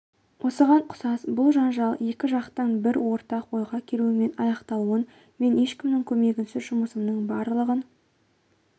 осыған ұқсас бұл жанжал екі жақтың бір ортақ ойға келуімен аяқталуын мен ешкімнің көмегінсіз жұмысымның барлығын